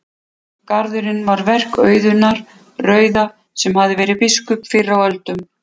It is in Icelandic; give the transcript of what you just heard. Garðurinn var verk Auðunar rauða sem verið hafði biskup fyrr á öldum.